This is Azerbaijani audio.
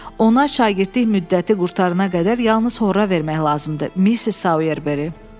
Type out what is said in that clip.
Ona şagirdlik müddəti qurtarana qədər yalnız horra vermək lazımdır, Missis Soyerberi.